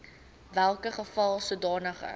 welke geval sodanige